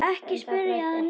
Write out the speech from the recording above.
Ekki spyrja að neinu!